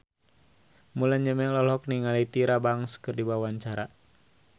Mulan Jameela olohok ningali Tyra Banks keur diwawancara